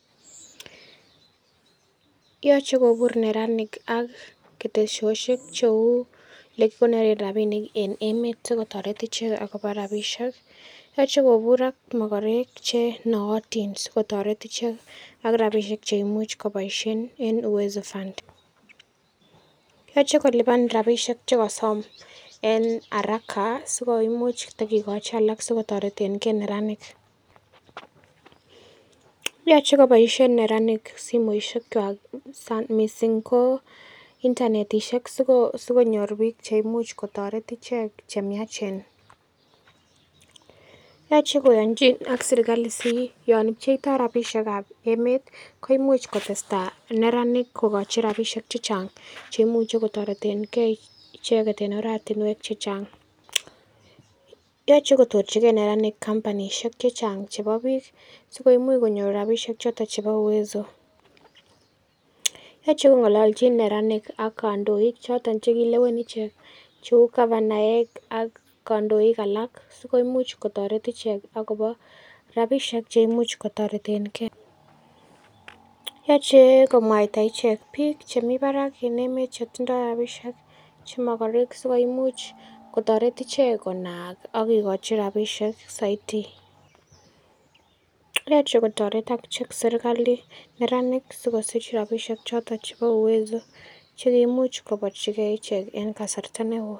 Yoche kobur neranik ak ketesosiek cheu elekikonoren rapinik en emet sikotoret ichek akobo rapisiek yoche kobur ak mokorek che nootin sikotoret ichek ak rapisiek cheimuch koboisien en Uwezo fund yoche kolipan rapisiek chekosom en haraka sikomuch tokikochi alak sikotoretengee neranik yoche koboisien neranik simoisiek kwak missing ko internetisiek sikonyor biik cheimuch kotoret ichek chemiachen yoche koyonjin ak serkali si yon pcheitoo rapisiek ab emet koimuch koteseta neranik kokochi rapisiek chechang chemuche kotoretengee icheket en oratinwek chechang yoche kotochigee neranik kampanisiek chechang chebo biik sikomuch konyor rapisiek choton chebo Uwezo. Yoche kongololjin neranik ak kandoik chekilewen ichek cheu gavanaek ak kandoik alak sikomuch kotoret ichek akobo rapisiek cheimuch kotoretengee yoche komwaita ichek biik chemii barak en emet chetindoo rapisiek che mogorek sikomuch kotoret ichek konaak ak kokochi rapisiek soiti yoche kotoret akichek serkali neranik sikosir rapisiek choton chebo Uwezo chekoimuch koborchingee ichek en kasarta neoo